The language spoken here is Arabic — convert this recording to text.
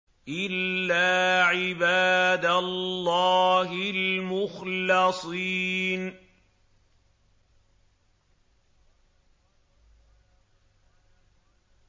إِلَّا عِبَادَ اللَّهِ الْمُخْلَصِينَ